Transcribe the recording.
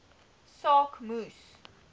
saak moes